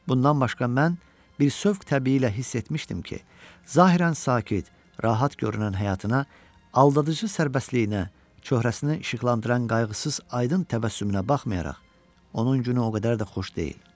Bundan başqa mən bir sövq təbi ilə hiss etmişdim ki, zahirən sakit, rahat görünən həyatına, çöhrəsini işıqlandıran qayğısız aydın təbəssümünə baxmayaraq, onun günü o qədər də xoş deyil.